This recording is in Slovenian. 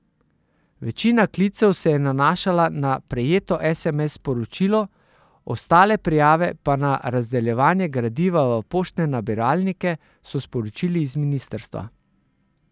Večina klicev se je nanašala na prejeto sms sporočilo, ostale prijave pa na razdeljevanje gradiva v poštne nabiralnike, so sporočili z ministrstva.